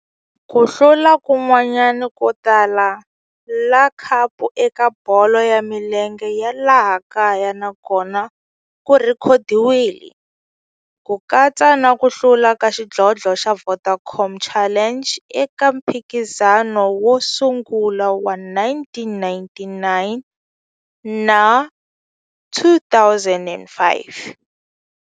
Ku hlula kun'wana ko tala ka khapu eka bolo ya milenge ya laha kaya na kona ku rhekhodiwile, ku katsa na ku hlula ka xidlodlo xa Vodacom Challenge eka mphikizano wo sungula wa 1999 na 2005.